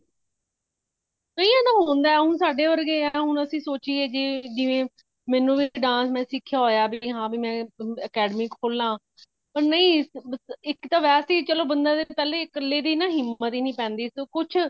ਕਈਆਂ ਨੂੰ ਹੁੰਦਾ ਹੁਣ ਸਾਡੇ ਵਰਗੇ ਹੈਂ ਹੁਣ ਅਸੀਂ ਸੋਚੀਏ ਜੇ ਮੈਨੂੰ ਵੀ ਮੈਂ ਵੀ dance ਸਿਖਯਾ ਹਾਂ ਭੀ academy ਖੋਲਾ ਚਲੋ ਨਹੀਂ ਇਕ ਤਾ ਬੰਦਾ ਚਲੋ ਵਾਸੇ ਹੀ ਪਹਿਲੇ ਤਾ ਕਲੇ ਦੀ ਹਿੰਮਤ ਹੀ ਨਹੀਂ ਪੈਂਦੀ ਤੋਂ ਕੁਛ